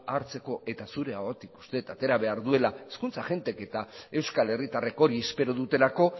hartzeko eta zure ahotik uste dut atera behar duela hizkuntz agentek eta euskal herritarrek hori espero dutelako